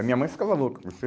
A minha mãe ficava louca.